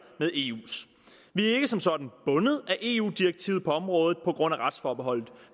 med eus vi er ikke som sådan bundet af eu direktivet på området på grund af retsforbeholdet